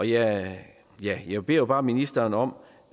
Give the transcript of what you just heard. jeg jeg beder bare ministeren om